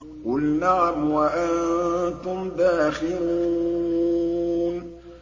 قُلْ نَعَمْ وَأَنتُمْ دَاخِرُونَ